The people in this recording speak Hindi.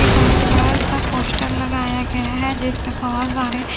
ये बहुत बड़ा सा पोस्टर लगाया गया है जिस पे बहुत सारे--